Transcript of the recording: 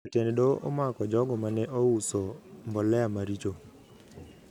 Jatend doho amako jogo mane ouso mbolea maricho